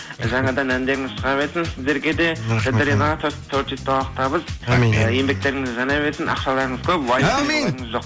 жаңадан әндеріңіз шыға берсін сіздерге де творчестволық табыс ы еңбектеріңіз жана берсін ақшаларыңыз көп әумин жоқ